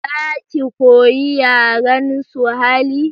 Za ki koyi yaren suhali?